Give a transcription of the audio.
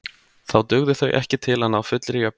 Þá dugðu þau ekki til að ná fullri jöfnun.